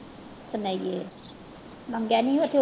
ਸਨੇਹੀਏ ਮੰਗਿਆ ਨੀ ਉੱਥੇ ਉਹ